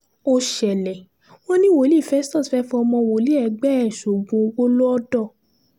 ó ṣẹlẹ̀ wọ́n ní wòlíì festus fẹ́ẹ́ fọmọ wòlíì ẹgbẹ́ ẹ̀ sóògùn owó lọ́dọ̀